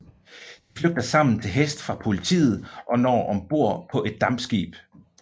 De flygter sammen til hest fra politiet og når om bord på et dampskib